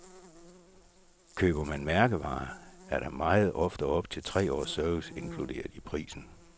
Køber man mærkevarer, er der meget ofte op til tre års service indkluderet i prisen.